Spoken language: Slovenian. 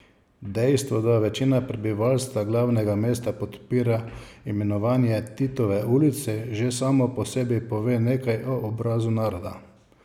Dejstvo, da večina prebivalstva glavnega mesta podpira imenovanje Titove ulice, že samo po sebi pove nekaj o obrazu naroda.